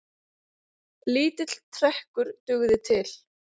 Lítill trekkur dugði til.